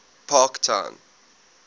parktown